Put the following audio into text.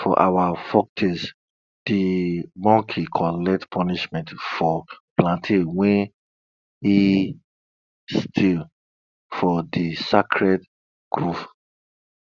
for our folktales de monkey collect punishment for plantain wey im steal for de sacred grove